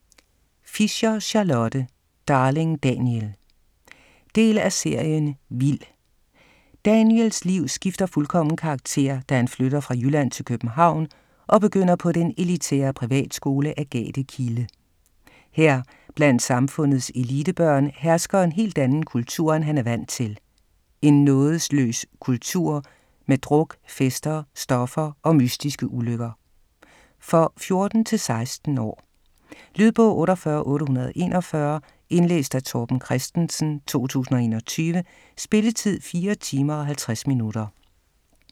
Fischer, Charlotte: Darling Daniel Del af serien Vild. Daniels liv skifter fuldkommen karakter, da han flytter fra Jylland til København og begynder på den elitære privatskole Agathe Kilde. Her, blandt samfundets elitebørn, hersker en helt anden kultur, end han er vant til - en nådesløs kultur med druk, fester, stoffer og mystiske ulykker. For 14-16 år. Lydbog 48841 Indlæst af Torben Christensen, 2021. Spilletid: 4 timer, 50 minutter.